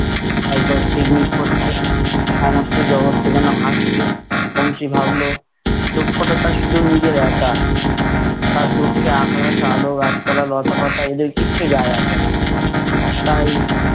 একবার ঝিকমিক করছে, সমস্ত জগৎটা যেনো হাসছে, বংশী ভাবলো- দুঃখটা তার শুধু নিজের একার। তার দুঃখে আকাশ আলো গাছপালা লতা-পাতা এদের কিচ্ছু যায় আসে না। তাই-